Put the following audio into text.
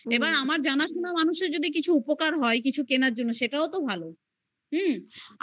এবার আমার জানাশোনা মানুষের যদি কিছু উপকার হয় কিছু কেনার জন্য. সেটাও তো ভালো. হুম